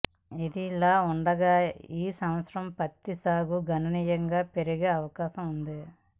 ఇదిలా ఉండగా ఈ సంవత్సరం పత్తి సాగు గణనీయంగా పెరిగే అవకాశం ఉంది